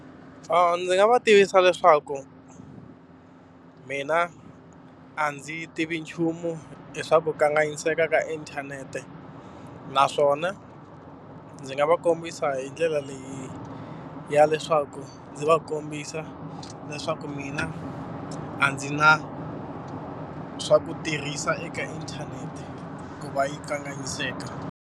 Ndzi nga va tivisa leswaku mina a ndzi tivi nchumu hi swa ku kanganyiseka ka inthanete. Naswona ndzi nga va kombisa a hi ndlela leyi ya leswaku ndzi va kombisa leswaku mina a ndzi na swa ku tirhisa eka inthanete ku va yi kanganyiseka.